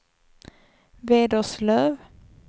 Vederslöv